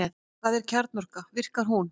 Hvað er kjarnorka og hvernig virkar hún?